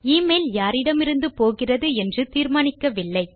email யாரிடமிருந்து போகிறது என்று தீர்மானிக்கவில்லை